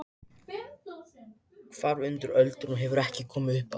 Hvarf undir ölduna og hefur ekki komið upp aftur!